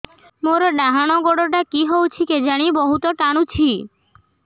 ମୋର୍ ଡାହାଣ୍ ଗୋଡ଼ଟା କି ହଉଚି କେଜାଣେ ବହୁତ୍ ଟାଣୁଛି